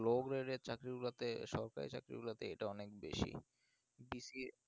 low grade এর চাকরি গুলিতে সরকারি চাকরি গুলোতে এটা অনেক বেশি BCA